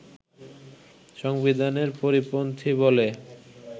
সংবিধানের পরিপন্থী বলে